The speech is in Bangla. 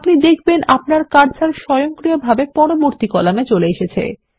আপনি দেখবেন আপনার কার্সার স্বয়ংক্রিয়ভাবে পরবর্তী কলামের উপর চলে আসছে